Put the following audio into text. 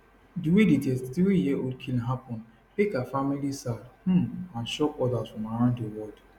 di way di 33yearold killing happun make her family sad um and shock odas from around di world